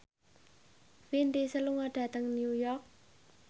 Vin Diesel lunga dhateng New York